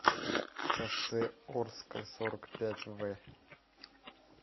шоссе орское сорок пять в